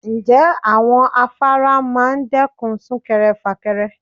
Ǹjẹ́ àwọn afárá máa dẹ́kun súnkẹrẹ fàkẹrẹ?